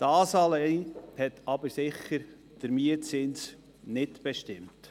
Das allein hat den Mietzins allerdings sicher nicht bestimmt.